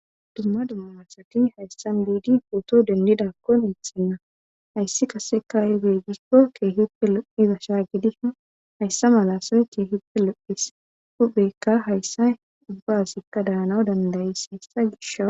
dumma dumma asati hayssan biidi pooto dendidakko ixenna hayssi kase kaaye geeggikko keehippe loiza shaa gidi hayssa mala sane keehippe lo7es huphekka hayssa ubbaasikka daanaw dandayis hessa gisha